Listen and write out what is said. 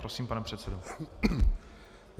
Prosím, pane předsedo.